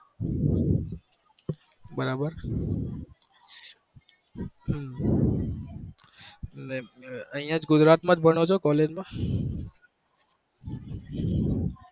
બરાબર હમ અહિયાં ગુજરાત માં જ ભણો છો collge મા